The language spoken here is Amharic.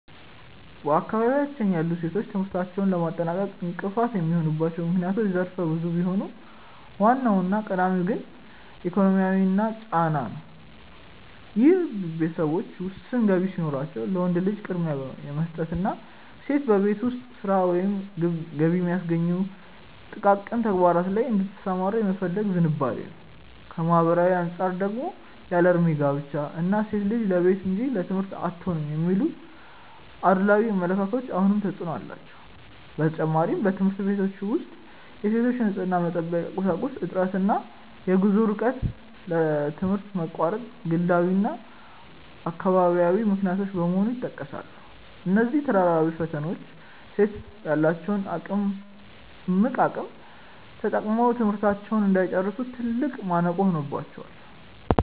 በአካባቢያችን ያሉ ሴቶች ትምህርታቸውን ለማጠናቀቅ እንቅፋት የሚሆኑባቸው ምክንያቶች ዘርፈ ብዙ ቢሆኑም፣ ዋናውና ቀዳሚው ግን ኢኮኖሚያዊ ጫና ነው፤ ይህም ቤተሰቦች ውስን ገቢ ሲኖራቸው ለወንድ ልጅ ቅድሚያ የመስጠትና ሴቷ በቤት ውስጥ ሥራ ወይም ገቢ በሚያስገኙ ጥቃቅን ተግባራት ላይ እንድትሰማራ የመፈለግ ዝንባሌ ነው። ከማኅበራዊ አንጻር ደግሞ ያለዕድሜ ጋብቻ እና "ሴት ልጅ ለቤት እንጂ ለትምህርት አትሆንም" የሚሉ አድሏዊ አመለካከቶች አሁንም ተፅዕኖ አላቸው። በተጨማሪም፣ በትምህርት ቤቶች ውስጥ የሴቶች የንፅህና መጠበቂያ ቁሳቁስ እጥረት እና የጉዞ ርቀት ለትምህርት መቋረጥ ግላዊና አካባቢያዊ ምክንያቶች በመሆን ይጠቀሳሉ። እነዚህ ተደራራቢ ፈተናዎች ሴቶች ያላቸውን እምቅ አቅም ተጠቅመው ትምህርታቸውን እንዳይጨርሱ ትልቅ ማነቆ ሆነውባቸዋል።